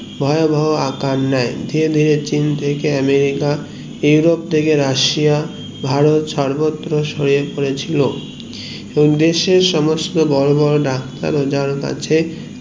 ভয়াবহ আকার নেয় চীন থেকে আমেরিকা ইউরোপ থেকে রাশিয়া ভারত সর্বত্র ছড়িয়ে পড়েছিল এবং দেশের সমস্ত বোরো বোরো ডাক্তার ও যার কাছে